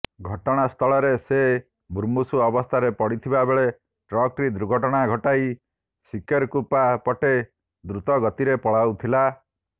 ଘଟଣାସ୍ଥଳରେ ସେ ମୁମୂର୍ଷୁ ଅବସ୍ଥାରେ ପଡ଼ିଥିବାବେଳେ ଟ୍ରକଟି ଦୁର୍ଘଟଣା ଘଟାଇ ସିକେରକୁପା ପଟେ ଦ୍ରୁତଗତିରେ ପଳାଉଥିଲା